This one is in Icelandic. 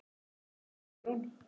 Andri og Guðrún.